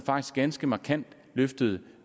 ganske markant løftede